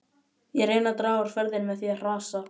Ég reyni að draga úr ferðinni með því að hrasa.